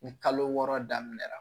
Ni kalo wɔɔrɔ daminɛra